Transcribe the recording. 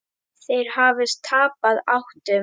Þeir hafi tapað áttum.